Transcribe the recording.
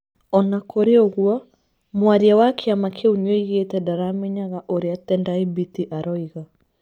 O na kũrĩ ũguo, mwaria wa kĩama kĩu nĩoigĩte ndaramenyaga ũrĩa Tendai Biti aroiga.